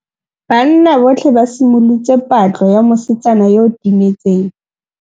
Banna botlhê ba simolotse patlô ya mosetsana yo o timetseng.